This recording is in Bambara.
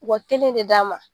U ka kelen de d'a ma.